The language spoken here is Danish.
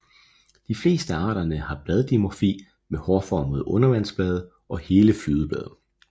De fleste af arterne har bladdimorfi med hårformede undervandsblade og hele flydeblade